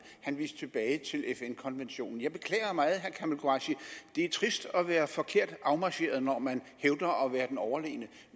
han viste tilbage til fn konventionen jeg beklager meget herre kamal qureshi det er trist at være forkert afmarcheret når man hævder at være den overlegne